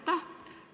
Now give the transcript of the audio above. Aitäh!